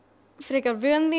frekar vön